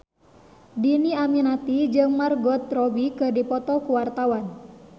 Dhini Aminarti jeung Margot Robbie keur dipoto ku wartawan